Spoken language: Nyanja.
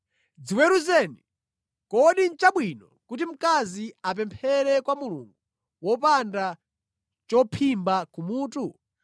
Dziweruzeni. Kodi nʼchabwino kuti mkazi apemphere kwa Mulungu wopanda chophimba kumutu?